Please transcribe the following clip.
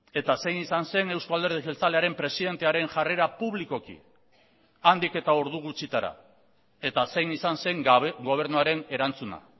eta zein izan zen euzko alderdi jeltzalearen presidentearen jarrera publikoki handik eta ordu gutxitara eta zein izan zen gobernuaren erantzuna